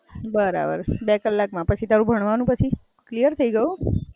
બરાબર છે બે કલાક માં. પછી તારું ભણવાનું પછી? ક્લિયર થય ગયું?